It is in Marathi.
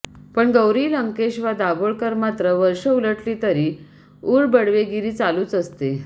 पण गौरी लंकेश वा दाभोळकर मात्र वर्षे उलटली तरी उरबडवेगिरी चालूच असते